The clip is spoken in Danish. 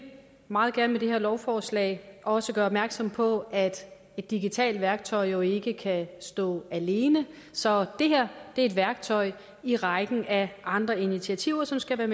meget gerne med det her lovforslag også gøre opmærksom på at et digitalt værktøj jo ikke kan stå alene så det her er et værktøj i rækken af andre initiativer som skal